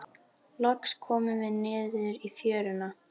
Loks komum við niður í fjöruna.